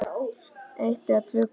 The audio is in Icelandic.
Eitt eða tvö glös.